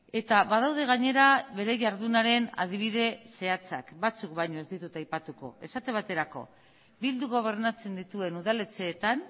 eta badaude gainera bere jardunaren adibide zehatzak batzuk baino ez ditut aipatuko esate baterako bilduk gobernatzen dituen udaletxeetan